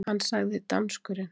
Hann sagði, danskurinn